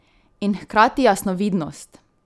In hkrati jasnovidnost!